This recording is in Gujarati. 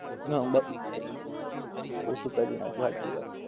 ના , ઓછું કરી નાખ્યું હાંચી વાત.